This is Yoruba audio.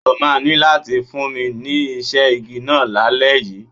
O máa ní láti fún mi ní iṣẹ́ igi náà lálẹ́ yìí.